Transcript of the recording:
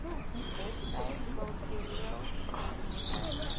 hetsy kultureel gedefinieer